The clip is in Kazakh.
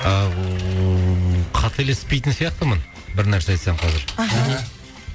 қателеспейтін сияқтымын бір нәрсе айтсам қазір аха